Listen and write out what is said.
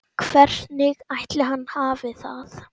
Hvernig ætli hann hafi það?